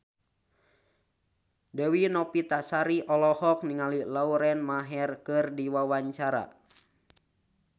Dewi Novitasari olohok ningali Lauren Maher keur diwawancara